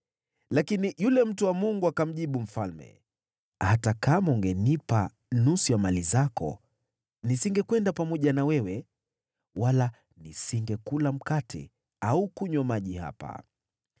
Lakini yule mtu wa Mungu akamjibu mfalme, “Hata kama ungenipa nusu ya mali zako, nisingekwenda pamoja na wewe, wala nisingekula mkate au kunywa maji hapa.